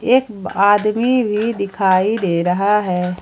एक आदमी भी दिखाई दे रहा है।